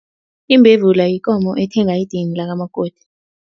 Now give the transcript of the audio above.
Imbevula yikomo ethenga idini lakamakoti.